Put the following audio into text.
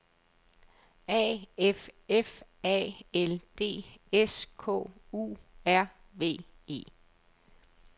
A F F A L D S K U R V E